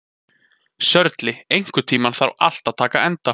Sörli, einhvern tímann þarf allt að taka enda.